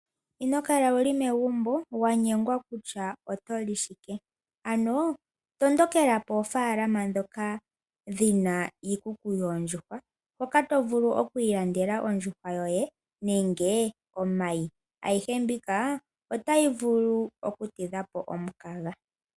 Ino kala wu li megumbo wa nyengwa kutya oto li shike, ano tondokela poofaalaama ndhoka dhi na iikuku yoondjuhwa hoka to vulu oku ilandela onsjuhwa yoye nenge omayi. Ayihe mbika otayi vulu okutidha po omukaga.